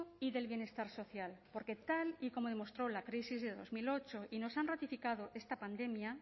y del bienestar social porque tal y como demostró la crisis de dos mil ocho y nos ha ratificado esta pandemia